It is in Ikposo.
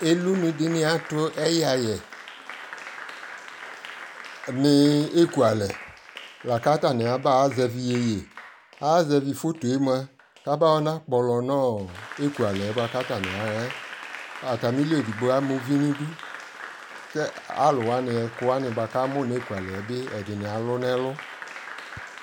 ɛlʋ dini atʋ ayi ayɛ ni ɛkʋ alɛ llakʋ atani aba zɛvi yɛyɛ, ayɛ zɛvi phɔtɔ ɛmʋa kʋ abayɔ kpɔlɔ nʋɔ ɛkʋɛ alɛ kʋɔ atami ahaɛ, atami li ɛdigbɔ ama uvi nʋ ɛdʋ kɛ alʋ wani kʋ atani amʋ nʋ ɛkʋ alɛ atani alʋ nɛ ɛlʋ